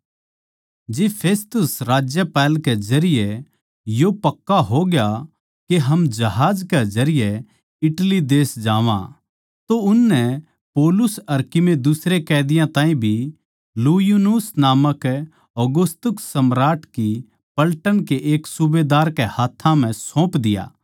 जिब फेस्तुस राज्यपाल के जरिये यो पक्का होग्या के हम जहाज कै जरिये इटली देश जावां तो उननै पौलुस अर कीमे दुसरे कैदियाँ ताहीं भी यूलियुस नामक औगुस्तुस सम्राट की पलटन कै एक सूबेदार कै हाथ्थां सौंप दिया